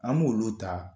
An b'olu ta